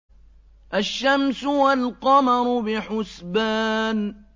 الشَّمْسُ وَالْقَمَرُ بِحُسْبَانٍ